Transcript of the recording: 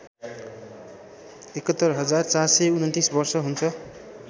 ७१ हजार ४२९ वर्ष हुन्छ